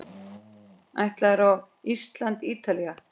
Ætlarðu á Ísland- Ítalía?